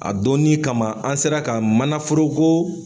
A donnin kama an sera ka mana foroko